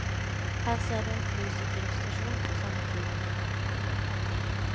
Her ser du en flysikringsstasjon fra samme tid.